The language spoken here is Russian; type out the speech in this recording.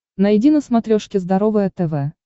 найди на смотрешке здоровое тв